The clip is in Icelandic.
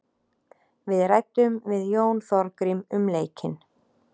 Við ræddum við Jón Þorgrím um leikinn.